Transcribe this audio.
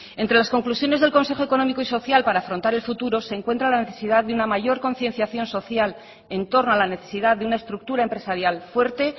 entre las conclusiones del consejo económico y social para afrontar el futuro se encuentra la necesidad de una mayor concienciación social en torno a la necesidad de una estructura empresarial fuerte